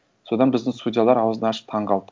содан біздің судьялар ауызын ашып таңғалды